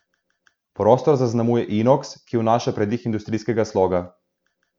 Prostor zaznamuje inoks, ki vnaša pridih industrijskega sloga.